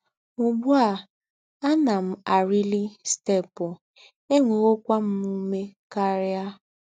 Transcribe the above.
Úgbú à, àná m àrílí stēépụ̀, ènwéwòkwá m úmé kárìa